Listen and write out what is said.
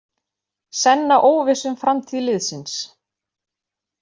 Senna óviss um framtíð liðsins